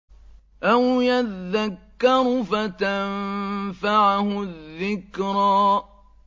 أَوْ يَذَّكَّرُ فَتَنفَعَهُ الذِّكْرَىٰ